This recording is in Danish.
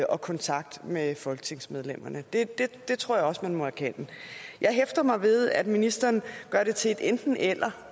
og kontakt med folketingsmedlemmerne det tror jeg også man må erkende jeg hæfter mig ved at ministeren gør det til et enten eller